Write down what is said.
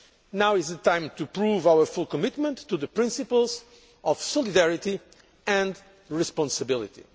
Now is the time to prove our full commitment to the principles of solidarity and responsibility.